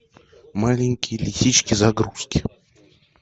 маленькие лисички загрузки